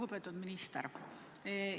Lugupeetud minister!